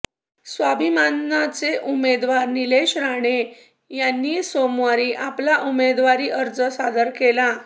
स्वाभिमानचे उमेदवार नीलेश राणे यांनी सोमवारी आपला उमेदवारी अर्ज सादर केला